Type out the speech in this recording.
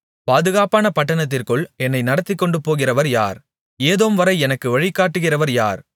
பாதுகாப்பான பட்டணத்திற்குள் என்னை நடத்திக்கொண்டுபோகிறவர் யார் ஏதோம்வரை எனக்கு வழி காட்டுகிறவர் யார்